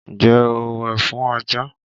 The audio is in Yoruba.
Ǹjẹ́ o wẹ̀ fún ajá?